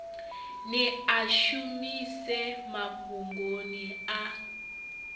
ni a shumise mafhungoni a